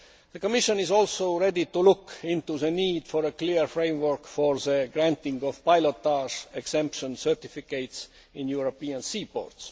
The Commission is also ready to look into the need for a clear framework for the granting of pilotage exemption certificates in European sea ports.